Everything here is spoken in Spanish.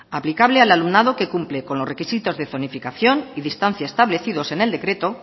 aplicable al alumnado que cumple con los requisitos de zonificación y distancia establecidos en el decreto